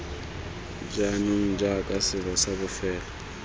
jaanong jaaka selo sa bofelo